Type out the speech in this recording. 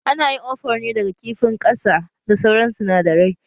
Ana yin ofor ne daga kifin ƙasa da sauran sinadarai